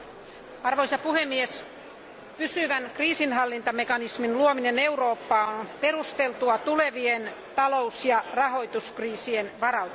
Arvoisa puhemies, pysyvän kriisinhallintamekanismin luominen Eurooppaan on perusteltua tulevien talous ja rahoituskriisien varalta.